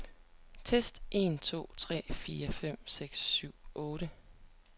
Tester en to tre fire fem seks syv otte.